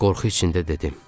Qorxu içində dedim.